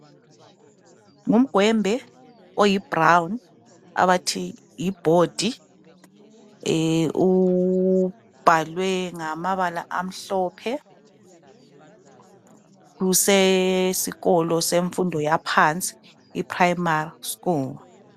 Ngumgwembe oyi brown abathi yi bhodi ubhalwe ngamabala amhlophe kusesikolo yemfundo yaphansi iprimary school.